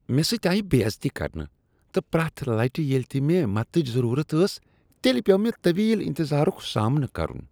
مےٚ سۭتۍ آیِہ بے عزتی کرنہٕ تہٕ پرٛؠتھ لٹہ ییٚلہ تِہ مےٚ مدتٕچ ضٔروٗرت ٲس تیٚلہ پیو مےٚ طویل انتظارک سامنہٕ کرُن۔